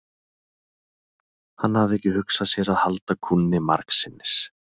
Hann hafði ekki hugsað sér að halda kúnni margsinnis.